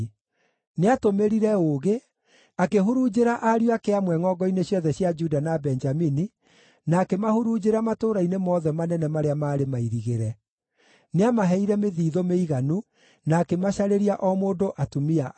Nĩatũmĩrire ũũgĩ, akĩhurunjĩra ariũ ake amwe ngʼongo-inĩ ciothe cia Juda na Benjamini, na akĩmahurunjĩra matũũra-inĩ mothe manene marĩa maarĩ mairigĩre. Nĩamaheire mĩthiithũ mĩiganu, na akĩmacarĩria o mũndũ atumia aingĩ.